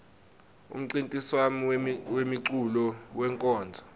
umncintiswam wemeculo wenkonzo